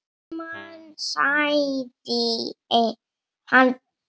Stendur heima sagði hann.